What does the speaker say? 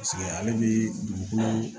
Paseke ale bi dugukolo